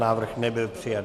Návrh nebyl přijat.